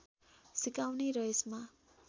सिकाउने र यसमा